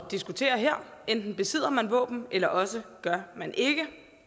diskutere her enten besidder man våben eller også gør man ikke